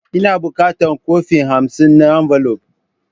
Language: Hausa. Ina bukatan kwafi hamsin na ambulaf.